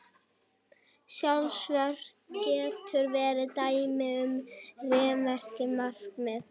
Sjálfsvörn getur verið dæmi um réttmætt markmið.